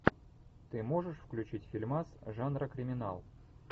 ты можешь включить фильмас жанра криминал